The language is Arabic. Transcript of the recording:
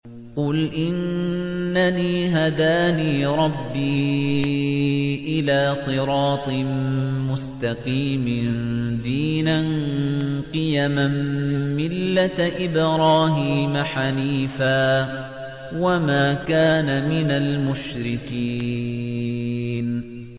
قُلْ إِنَّنِي هَدَانِي رَبِّي إِلَىٰ صِرَاطٍ مُّسْتَقِيمٍ دِينًا قِيَمًا مِّلَّةَ إِبْرَاهِيمَ حَنِيفًا ۚ وَمَا كَانَ مِنَ الْمُشْرِكِينَ